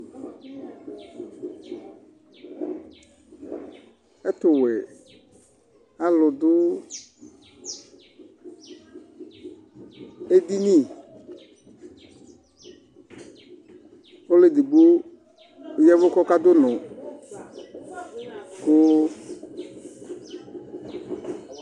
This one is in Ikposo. Ɛtuwɛ alu du edini ɔluedigbo yavu kɔkadu unɔ ku